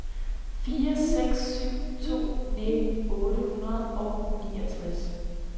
fire seks syv to nitten otte hundrede og niogtres